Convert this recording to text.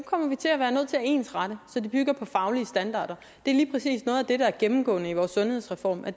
ensrette så de bygger på faglige standarder det er lige præcis noget af det der er gennemgående i vores sundhedsreform at